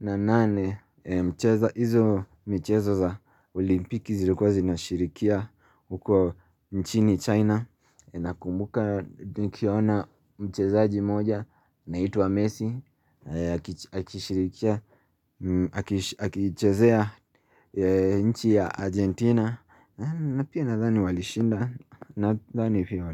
na nane mcheza hizo michezo za olimpiki zilikuwa zinashirikia huko nchini China Nakumbuka nikiona mchezaji moja anaitwa Messi Akishirikia, akichezea nchi ya Argentina na pia nadhani walishinda nadhani pia.